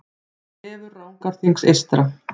Vefur Rangárþings eystra